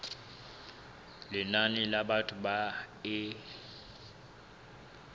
lenane la batho ba e